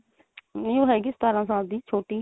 ਨਹੀਂ ਉਹ ਹੈਗੀ ਸਤਾਰਾਂ ਸਾਲ ਦੀ ਛੋਟੀ